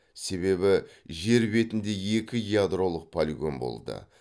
себебі жер бетінде екі ядролық полигон болды